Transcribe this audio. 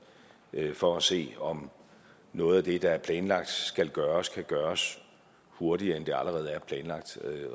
for at se om noget af det der er planlagt skal gøres kan gøres hurtigere end det allerede er planlagt